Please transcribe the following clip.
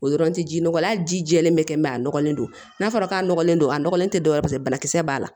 O yɔrɔ tɛ ji nɔgɔ la hali ji jɛlen bɛ kɛ a nɔgɔlen don n'a fɔra k'a nɔgɔlen don a nɔgɔlen tɛ dɔwɛrɛ banakisɛ b'a la